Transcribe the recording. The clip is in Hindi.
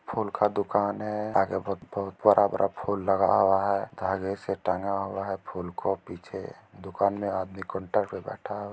फूल का दुकान है आगे बहुत-बहुत बड़ा-बड़ा फूल लगा हुआ है धागे से टंगा हुआ है फूल को| पीछे दुकान मे आदमी कोंटर पर बैठा --